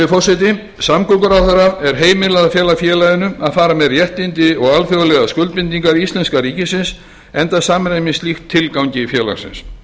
verkefnum samgönguráðherra er heimilað að fela félaginu að fara með réttindi og alþjóðlegar skuldbindingar íslenska ríkisins enda samræmist slíkt tilgangi félagsins